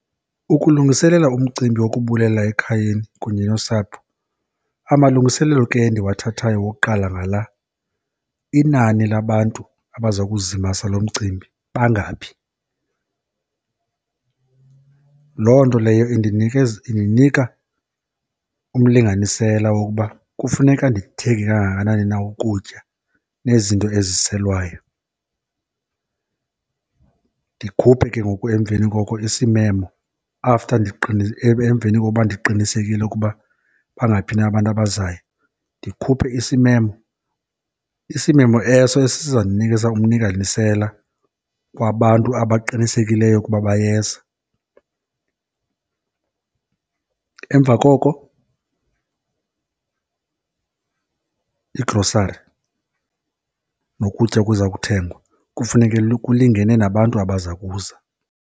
Ukulungiselela umcimbi wokubulela ekhayeni kunye nosapho, amalungiselelo ke endiwathathayo wokuqala ngala, inani labantu abaza kuzimasa lo mcimbi bangaphi? Loo nto leyo indinikeza, indinika umlinganisela wokuba kufuneka ndithenge kangakanani na ukutya nezinto eziselwayo. Ndikhuphe ke ngoku emveni koko isimemo after emveni koba ndiqinisekile ukuba bangaphi na abantu abazayo. Ndikhuphe isimemo, isimemo eso esiza kundinikeza umlinganisela wabantu abaqinisekeliyo ukuba bayeza. Emva koko igrosari nokutya okuza kuthengwa kufuneke kulingene nabantu abaza kuza.